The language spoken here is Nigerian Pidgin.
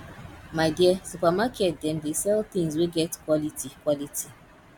my dear supermarket dem dey sell tins wey get quality quality